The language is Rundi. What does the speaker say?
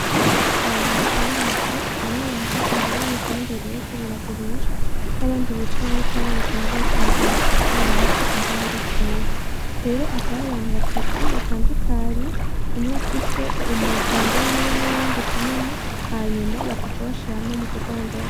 Abantu benshi bari mwisoko bamwe bahagaze ibere yibidandazwa biriko biragurishwa nabandi bicaye bariko barerekana ivyo bariko baragurisha uko bimeze ingene ari vyiza, rero hakaba hari abantu batatu batandukanye umwe afise umuganda wiwe nuwundi uko nyene hanyuma bakaca bashira hamwe mukudandaza.